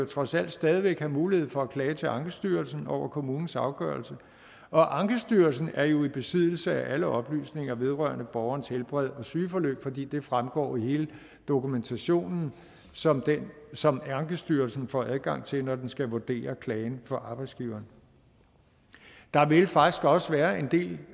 trods alt stadig væk vil have mulighed for at klage til ankestyrelsen over kommunens afgørelse og ankestyrelsen er jo i besiddelse af alle oplysninger vedrørende borgerens helbred og sygeforløb fordi det fremgår af hele dokumentationen som som ankestyrelsen får adgang til når den skal vurdere klagen fra arbejdsgiveren der vil faktisk også være en del